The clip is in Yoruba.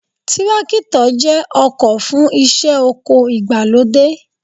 Tírákítọ̀ jẹ́ ọkọ̀ fún iṣẹ́ oko ìgbàlódé